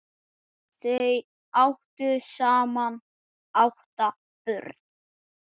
Þau áttu saman átta börn.